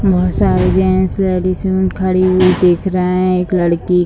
बहुत सारे gents ladies खड़ी दिख रहा हैं एक लड़की --